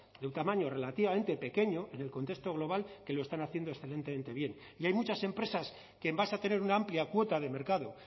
de un tamaño relativamente pequeño en el contexto global que lo están haciendo excelentemente bien y hay muchas empresas que en base a tener una amplia cuota de mercado